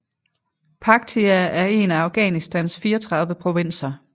Paktia er en af Afghanistans 34 provinser